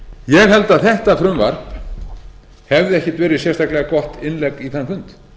held að þetta frumvarp hefði ekkert verið sérstaklega gott innlegg í þann fund